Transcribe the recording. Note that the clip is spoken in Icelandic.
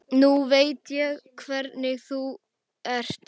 Nú veit ég hvernig þú ert!